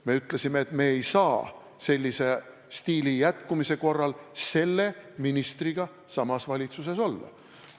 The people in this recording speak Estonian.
Me ütlesime, et me ei saa sellise stiili jätkumise korral selle ministriga samas valitsuses olla.